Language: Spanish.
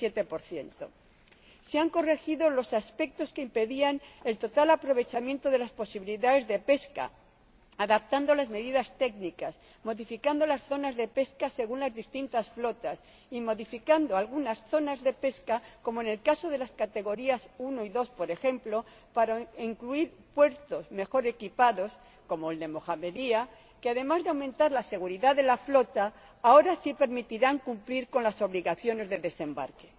17 se han corregido los aspectos que impedían el total aprovechamiento de las posibilidades de pesca, adaptando las medidas técnicas, modificando las zonas de pesca según las distintas flotas y modificando algunas zonas de pesca, como en el caso de las categorías 1 y 2, por ejemplo, para incluir puertos mejor equipados, como el de Mohamedia, que además de aumentar la seguridad de la flota, ahora sí permitirán cumplir las obligaciones de desembarque